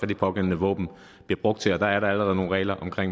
de pågældende våben bliver brugt til og der er der allerede nogle regler om